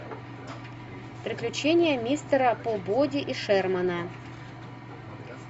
приключения мистера пибоди и шермана